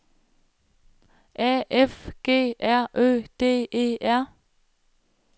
A F G R Ø D E R